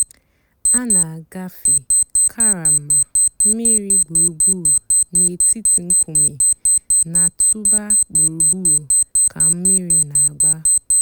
a nà-àgàfé karama mmìrì gbùrùgbùrù nètìtì ńkùmé̀ nà-̀tụ̀bà gbùrùgbùrù kà mmìrì nà-àgbà.